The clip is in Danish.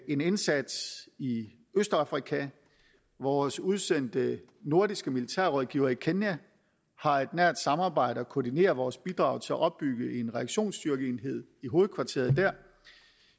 en indsats i østafrika vores udsendte nordiske militærrådgivere i kenya har et nært samarbejde og koordinerer vores bidrag til at opbygge en reaktionsstyrkeenhed i hovedkvarteret der